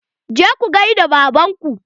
Je ku gaida baban ku!